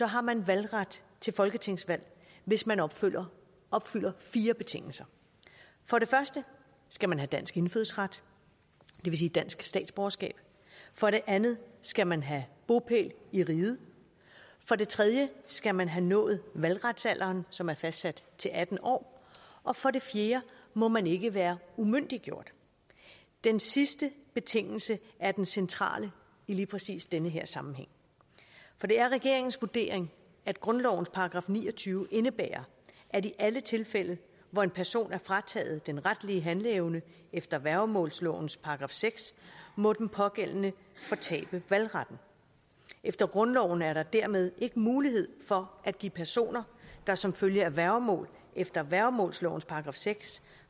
har man valgret til folketingsvalg hvis man opfylder opfylder fire betingelser for det første skal man have dansk indfødsret det vil sige dansk statsborgerskab for det andet skal man have bopæl i riget for det tredje skal man have nået valgretsalderen som er fastsat til atten år og for det fjerde må man ikke være umyndiggjort den sidste betingelse er den centrale i lige præcis den her sammenhæng for det er regeringens vurdering at grundlovens § ni og tyve indebærer at i alle tilfælde hvor en person er frataget den retlige handleevne efter værgemålslovens § seks må den pågældende fortabe valgretten efter grundloven er der dermed ikke mulighed for at give personer der som følge af værgemål efter værgemålslovens § seks